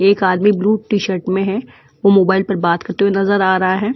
एक आदमी blue t shirt में है वो मोबाइल पर बात करते हुए नजर आ रहा है।